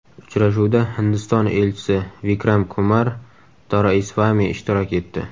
Uchrashuvda Hindiston elchisi Vikram Kumar Doraisvami ishtirok etdi.